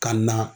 Ka na